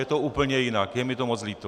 Je to úplně jinak, je mi to moc líto.